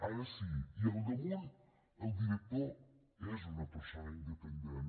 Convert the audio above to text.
ara sí i al damunt el director és una persona independent